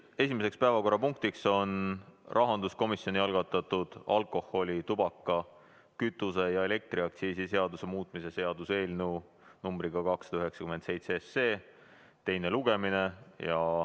Esimene päevakorrapunkt on rahanduskomisjoni algatatud alkoholi‑, tubaka‑, kütuse‑ ja elektriaktsiisi seaduse muutmise seaduse eelnõu nr 297 teine lugemine.